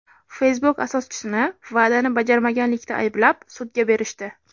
Facebook asoschisini va’dani bajarmaganlikda ayblab, sudga berishdi.